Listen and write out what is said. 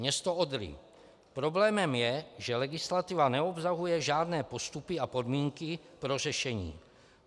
Město Odry: Problémem je, že legislativa neobsahuje žádné postupy a podmínky pro řešení.